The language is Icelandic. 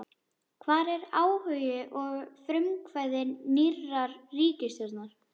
Hvar er áhugi og frumkvæði nýrrar ríkisstjórnar?